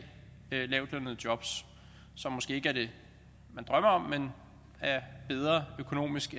lavtlønnede jobs som måske ikke er det man drømmer om men er bedre økonomisk